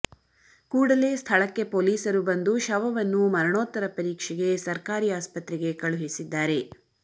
ಕೂಡಲೇ ಸ್ಥಳಕ್ಕೆ ಪೊಲೀಸರು ಬಂದು ಶವವನ್ನು ಮರಣೋತ್ತರ ಪರೀಕ್ಷೆಗೆ ಸರ್ಕಾರಿ ಆಸ್ಪತ್ರೆಗೆ ಕಳುಹಿಸಿದ್ದಾರೆ